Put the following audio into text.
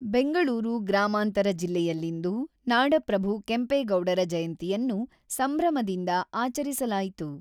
ಬೆಂಗಳೂರು ಗ್ರಾಮಾಂತರ ಜಿಲ್ಲೆಯಲ್ಲಿಂದು ನಾಡಪ್ರಭು ಕೆಂಪೇಗೌಡರ ಜಯಂತಿಯನ್ನು ಸಂಭ್ರಮದಿಂದ ಆಚರಿಸಲಾಯಿತು.